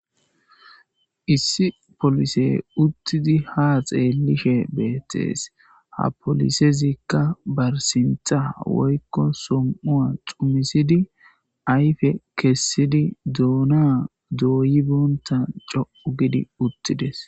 issi polise uttidi ha xeelishe beettees ha polisezikka barsintha woykko som7ua xumisidi ayfe kessidi duuna dooyi boonta coo gidi uttides.